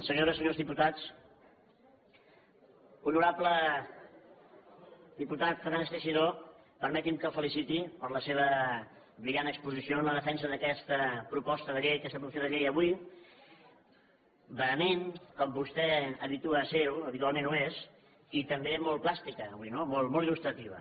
senyores senyors diputats honorable diputat fernández teixidó permeti’m que el feliciti per la seva brillant exposició en la defensa d’aquesta proposta de llei aquesta proposició de llei avui vehement com vostè habitua a ser ho habitualment ho és i també molt plàstica avui no molt illustrativa